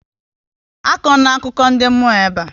Akọ na akụkọ ndị mmụọ ebe a!